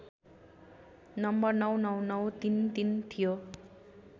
number ९९९३३ थियो